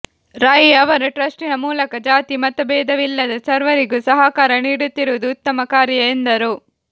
ರೈ ಅವರು ಟ್ರಸ್ಟಿನ ಮೂಲಕ ಜಾತಿ ಮತಬೇದವಿಲ್ಲದೆ ಸರ್ವರಿಗೂ ಸಹಕಾರ ನೀಡುತ್ತಿರುವುದು ಉತ್ತಮ ಕಾರ್ಯ ಎಂದರು